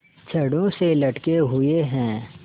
छड़ों से लटके हुए हैं